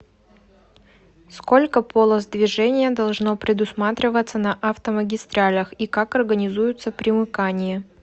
сколько полос движения должно предусматриваться на автомагистралях и как организуются примыкания